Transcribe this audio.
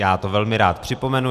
Já to velmi rád připomenu.